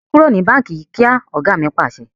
Kúrò ní báńkì yí kíá! Ọ̀gá mi Pàṣẹ.